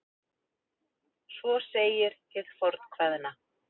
Svo segir hið fornkveðna.